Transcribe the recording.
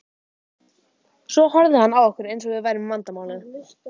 Svo horfði hann á okkur eins og við værum vandamálið.